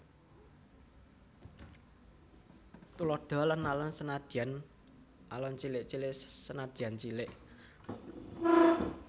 Tuladha Alon alon senadyan alon cilik cilik senadyan cilik